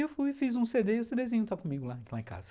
E eu fui, fiz um cê dê e o cêdêzinho está comigo lá em casa.